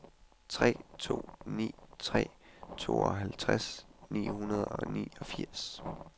tre to ni tre tooghalvtreds seks hundrede og niogfirs